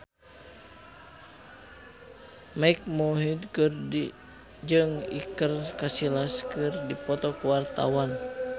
Mike Mohede jeung Iker Casillas keur dipoto ku wartawan